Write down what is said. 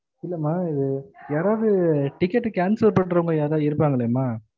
இல்லம்மா இது யாரவது ticket cancel பண்ணுறவங்க யாருணது இருப்பாங்களேம்மா